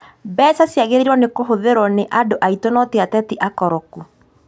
Mbeca ciagĩrĩrwo kũhũthĩrwo nĩ andũ aitũ no ti ateti akoroku